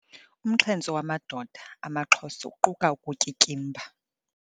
Umxhentso wamadoda amaXhosa uquka ukutyityimba.